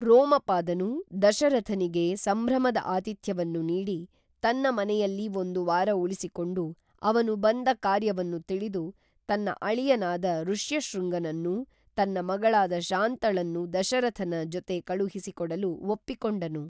ರೋಮಪಾದನು ದಶರಥನಿಗೆ ಸಂಭ್ರಮದ ಆತಿಥ್ಯವನ್ನು ನೀಡಿ ತನ್ನ ಮನೆಯಲ್ಲಿ ಒಂದು ವಾರ ಉಳಿಸಿಕೊಂಡು ಅವನು ಬಂದ ಕಾರ್ಯವನ್ನು ತಿಳಿದು ತನ್ನ ಅಳಿಯನಾದ ಋಷ್ಯಶೃಂಗನನ್ನೂ ತನ್ನ ಮಗಳಾದ ಶಾಂತಳನ್ನೂ ದಶರಥನ ಚೊತೆ ಕಳುಹಿಸಿ ಕೊಡಲು ಒಪ್ಪಿಕೊಂಡನು